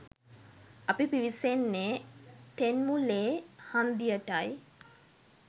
අපි පිවිසෙන්නේ තෙන්මුලෛ හන්දියටයි